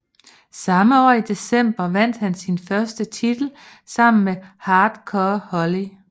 Samme år i december vandt han sin første titel sammen med Hardcore Holly